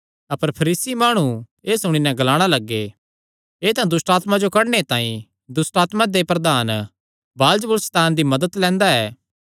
अपर फरीसी माणु एह़ सुणी नैं ग्लाणा लग्गे एह़ तां दुष्टआत्मां जो कड्डणे तांई दुष्टआत्मां दे प्रधान बालजबूल सैतान दी मदत लैंदा ऐ